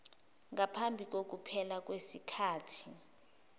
ngaphambi kokuphela kwesikhathi